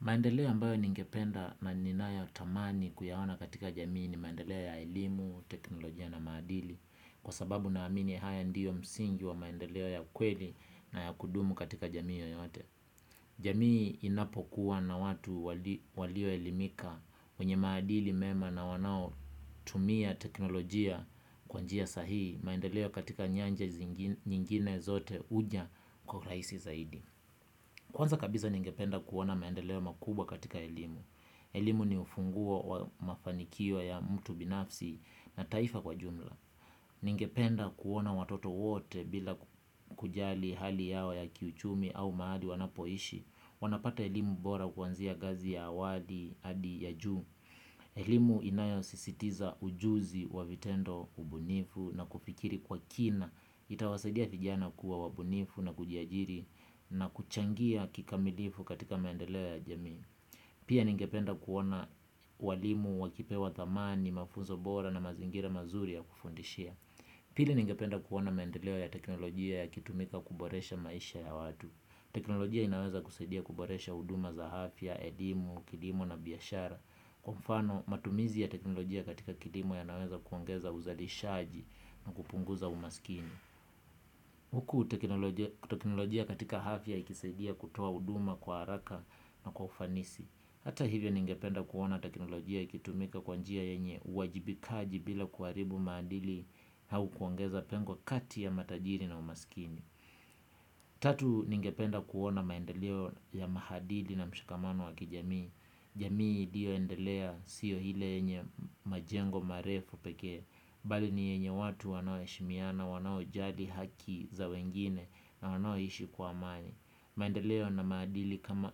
Maendeleo ambayo ningependa na ninayo tamani kuyaona katika jamii ni maendeleo ya elimu, teknolojia na maadili. Kwa sababu na amini haya ndio msingi wa maendeleo ya kweli na ya kudumu katika jamii yoyote. Jamii inapo kuwa na watu walio elimika wenye maadili mema na wanao tumia teknolojia kwa njia sahihi. Maendeleo katika nyanja nyingine zote huja kwa urahisi zaidi. Kwanza kabisa ningependa kuona maendeleo makubwa katika elimu. Elimu ni ufunguo wa mafanikio ya mtu binafsi na taifa kwa jumla. Ningependa kuona watoto wote bila kujali hali yao ya kiuchumi au mahali wanapoishi. Wanapata elimu bora kuanzia ngazi ya awadi hadi ya juu. Elimu inayo sisitiza ujuzi wa vitendo ubunifu na kufikiri kwa kina itawasaidia vijana kuwa wabunifu na kujiajiri na kuchangia kikamilifu katika maendeleo ya jamii. Pia ningependa kuona walimu wakipewa thamani, mafunzo bora na mazingira mazuri ya kufundishia. Pili ningependa kuona maendeleo ya teknolojia ya kitumika kuboresha maisha ya watu. Teknolojia inaweza kusadia kuboresha huduma za afya elimu, kilimo na biashara. Kwa mfano matumizi ya teknolojia katika kilimo yanaweza kuongeza uzalishaji na kupunguza umaskini. Huku teknolojia katika afya ikisaidia kutoa huduma kwa haraka na kwa ufanisi. Hata hivyo ningependa kuona teknolojia ikitumika kwa njia yenye uwajibikaji bila kuharibu maadili au kuongeza pengo kati ya matajiri na umaskini. Tatu ningependa kuona maendeleo ya mahadili na mshikamano wa kijamii. Jamii iliyo endelea sio ile yenye majengo marefu pekee bali ni yenye watu wanao heshimiana, wanao jali haki za wengine na wanao ishi kwa amani. Maendeleo na maadili kama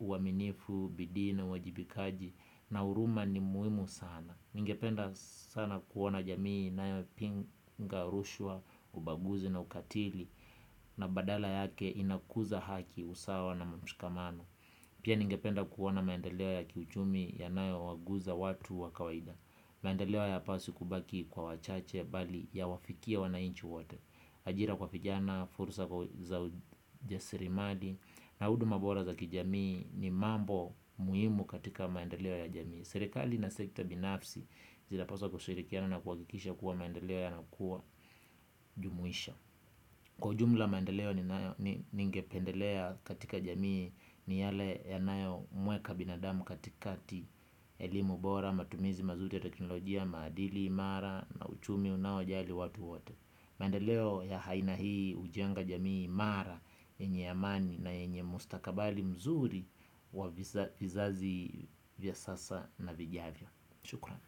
uaminifu, bidii na uwajibikaji na huruma ni muhimu sana. Ningependa sana kuona jamii inayo pinga urushwa, ubaguzi na ukatili na badala yake inakuza haki usawa na mshikamano. Pia ningependa kuona maendeleo ya kiuchumi yanayo waguza watu wa kawaida. Maendeleo hayapaswi kubaki kwa wachache bali yawafikie wanainchi wote. Ajira kwa vijana, fursa kwa za ujasiri mali na huduma bora za kijamii ni mambo muhimu katika maendeleo ya jamii. Serikali ina sekta binafsi zinapaswa kushirikiana na kuhakikisha kuwa maendeleo yanakuwa jumuisha. Kwa ujumla maendeleo ningependelea katika jamii ni yale yanayo mweka binadamu katikati elimu bora, matumizi mazuri ya teknolojia, maadili, mara na uchumi unaojali watu wote. Maendeleo ya aina hii hujenga jamii mara enye amani na enye mustakabali mzuri wa vizazi vya sasa na vijavyo. Shukran.